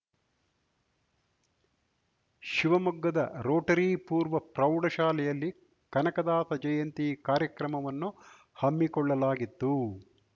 ಶಿವಮೊಗ್ಗದ ರೋಟರಿ ಪೂರ್ವ ಪ್ರೌಢಶಾಲೆಯಲ್ಲಿ ಕನಕದಾಸ ಜಯಂತಿ ಕಾರ್ಯಕ್ರಮವನ್ನು ಹಮ್ಮಿಕೊಳ್ಳಲಾಗಿತ್ತು